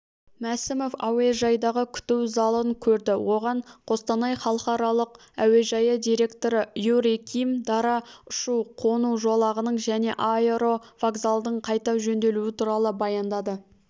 мәсімов әуежайдағы күту залын көрді оған қостанай халықаралық әуежайы директоры юрий ким дара ұшу-қону жолағының және аэровокзалдың қайта жөнделуі туралы баяндады